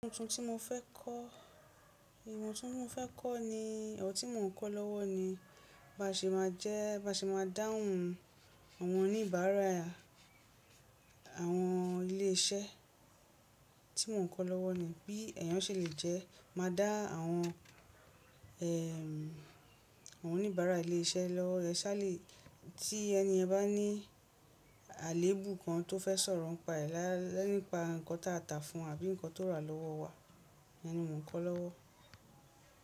Ohun tó tí mo fẹ́ kọ́, ìhùn tó mo fẹ́ kọ́ ni, èwọ̀ tí mò ń kọ́ lọ́wọ́ ni baṣe ma jẹ́, baṣe ma dáhùn àwọn oníbàárà àwọn ilé iṣẹ́ tí mò ń kọ́ lọ́wọ́ ni. Bí èèyàn ṣe lè jẹ́ máa dá àwọn, ẹm, àwọn oníbàárà ilé iṣẹ́ lọ́wọ́, ẹ sáà le, tí ẹniyàn bá ní àléébù kan tó fẹ́ sọ̀rọ̀ ń pa ẹ lẹ́nípa ǹkan ta tà fún àbí ǹkan tó rà lọ́wọ́ wa, ìyẹn ni mò ń kọ́ lọ́wọ́.